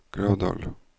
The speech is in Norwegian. Gravdal